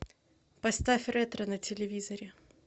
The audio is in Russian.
поставь ретро на телевизоре